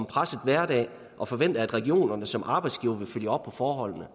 presset hverdag og forventer at regionerne som arbejdsgivere vil følge op på forholdene